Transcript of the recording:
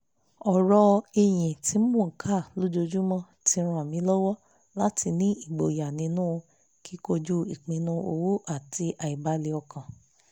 ọ̀rọ̀ ìyìn tí mo ń kà lójoojúmọ́ ti ràn mí lọ́wọ́ láti ní ìgboyà nínú kíkojú ìpinnu owó àti àìbalẹ́-ọkàn